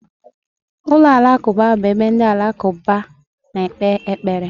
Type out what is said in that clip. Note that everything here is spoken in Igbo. Ụlọ alakụba bụ ebe ndị alakụba na-ekpe ekpere.